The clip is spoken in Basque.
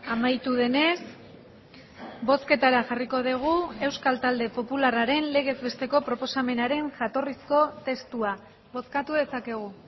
amaitu denez bozketara jarriko dugu euskal talde popularraren legez besteko proposamenaren jatorrizko testua bozkatu dezakegu